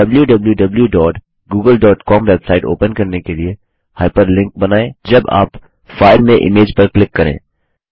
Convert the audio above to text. wwwgooglecom website open करने के लिए हाइपरलिंक बनाएँ जब आप फाइल में इमेज पर क्लिक करें